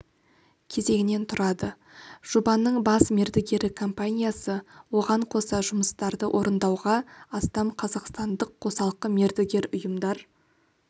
кезеңнен тұрады жобаның бас мердігері компаниясы оған қоса жұмыстарды орындауға астам қазақстандық қосалқы мердігер ұйымдар